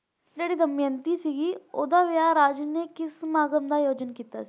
ਜਿਹੜੀ ਦਮਯੰਤੀ ਸੀ ਓਹਦਾ ਵਿਆਹ ਰਾਜੇ ਨੇ ਕਿ ਸਮਾਗਮ ਦਾ ਆਯੋਜਨ ਕੀਤਾ ਸੀ